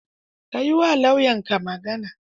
Ka yi wa lauyanka magana.